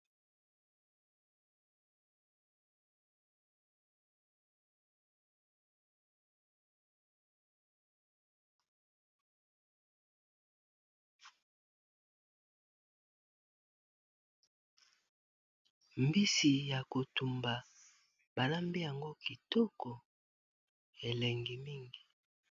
Mbisi ya kotumba balambi yango kitoko elengi mingi.